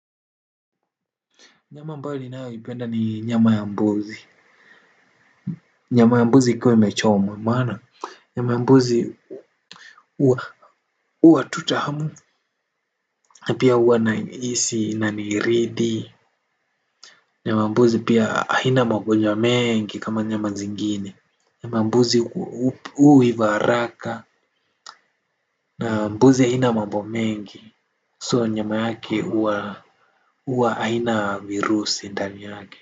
Nyama ambayo ninayo ipenda ni nyama ya mbuzi, nyama ya mbuzi ikiwa imechomwa maana, nyama ya mbuzi uwa tutahamu, na pia uwa na isi na niridhi, nyama ya mbuzi pia haina magonjwa mengi kama nyama zingine, nyama ya mbuzi huiva haraka, na mbuzi haina mambo mengi, so nyama yake uwa haina virus indani yake.